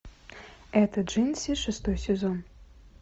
это джинси шестой сезон